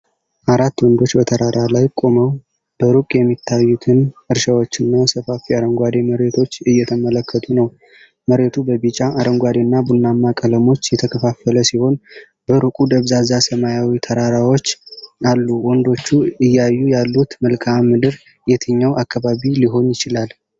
አራት ወንዶች በተራራ ላይ ቆመው፣ በሩቅ የሚታዩትን እርሻዎችና ሰፋፊ አረንጓዴ መሬቶች እየተመለከቱ ነው። መሬቱ በቢጫ፣ አረንጓዴና ቡናማ ቀለሞች የተከፋፈለ ሲሆን፣ በሩቁ ደብዛዛ ሰማያዊ ተራራዎች አሉ፤ ወንዶቹ እያዩ ያሉት መልክዓ ምድር የትኛው አካባቢ ሊሆን ይችላል?